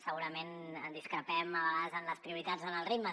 segurament discrepem a vegades en les prioritats o en els ritmes